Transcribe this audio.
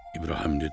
İbrahim dedi: